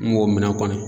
N b'o minɛ kɔni